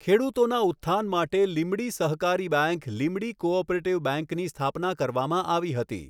ખેડૂતોના ઉત્થાન માટે લીંબડી સહકારી બેંક લીંબડી કોઑપરેટીવ બેંકની સ્થાપના કરવામાં આવી હતી.